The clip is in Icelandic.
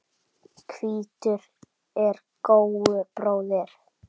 Hvítur er góu bróðir.